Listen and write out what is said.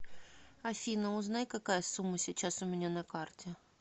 афина узнай какая сумма сейчас у меня на карте